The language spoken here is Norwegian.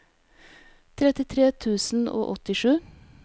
trettitre tusen og åttisju